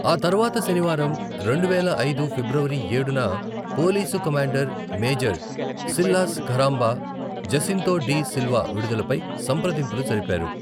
ఆ తర్వాత శనివారం, రెండువేల ఐదు ఫిబ్రవరి ఏడున, police commander major Silas Kharamba, Jacinto de Silva విడుదలపై సంప్రదింపులు జరిపారు.